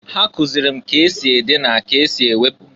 Ha kụzịlị m k' esi ede na k' esi ewepu.